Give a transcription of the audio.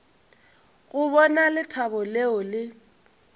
go bona lethabo leo le